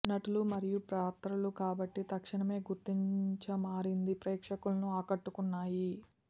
నటులు మరియు పాత్రలు కాబట్టి తక్షణమే గుర్తించ మారింది ప్రేక్షకులను ఆకట్టుకున్నాయి